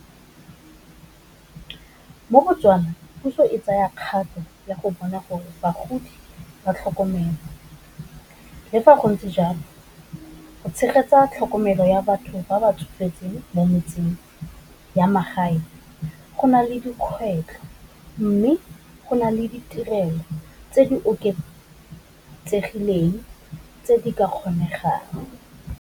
Mo botswana puso e tsaya kgato ya go bona gore bagodi ba tlhokomelwa, le fa go ntse jalo, go tshegetsa tlhokomelo ya batho ba batsofetseng mo metseng ya magae, go nale dikgwetlo mme go na le ditirelo tse di oketsegileng tse di ka kgonegang.